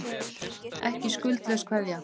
Ekki skuldlaus keðja